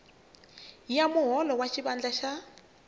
ya muholo wa xivandla xa